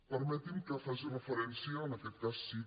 permetin me que faci referència en aquest cas sí